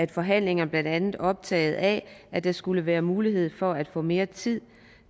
i forhandlingerne blandt andet optagede af at der skulle være mulighed for at få mere tid